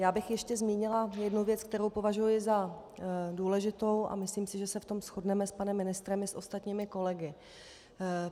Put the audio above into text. Já bych ještě zmínila jednu věc, kterou považuji za důležitou, a myslím si, že se v tom shodneme s panem ministrem i s ostatními kolegy.